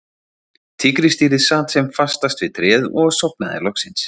Tígrisdýrið sat sem fastast við tréð og sofnaði loksins.